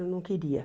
Eu não queria.